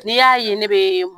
N'i y'a ye ne bɛ